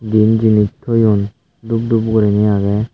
din jinich thoyun dhub dhub guriney agey.